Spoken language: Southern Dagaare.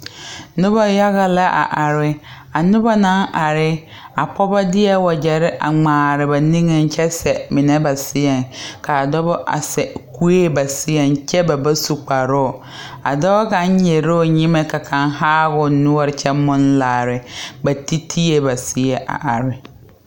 Noba yaɡa la a are a noba na are a pɔɔbɔ deɛ waɡyɛre ŋmaare ba niŋeŋ kyɛ sɛ mine ba seɛ ka a dɔbɔ sɛ kue ba seɛ kyɛ ba ba su kparoo a dɔɔ kaŋ nyere la o nyemɛ ka kaŋ haa o noɔre kyɛ more laare ba titie ba seɛ a are.